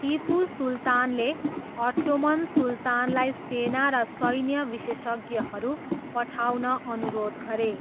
तिपु सुल्तानले अट्टोमन सुल्तानलाई सेना र सैन्य विशेषज्ञहरू पठाउन अनुरोध गरे।